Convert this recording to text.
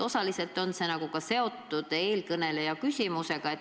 Osaliselt on see seotud ka eelkõneleja küsimusega.